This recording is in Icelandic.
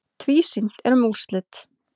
Tvísýnt er um úrslit.